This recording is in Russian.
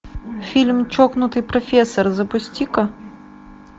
фильм чокнутый профессор запусти ка